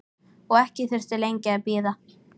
Og ekki þurfti lengi að bíða.